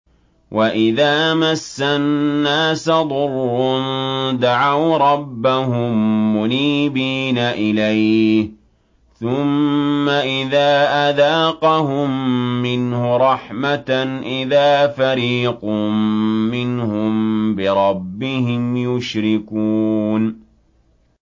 وَإِذَا مَسَّ النَّاسَ ضُرٌّ دَعَوْا رَبَّهُم مُّنِيبِينَ إِلَيْهِ ثُمَّ إِذَا أَذَاقَهُم مِّنْهُ رَحْمَةً إِذَا فَرِيقٌ مِّنْهُم بِرَبِّهِمْ يُشْرِكُونَ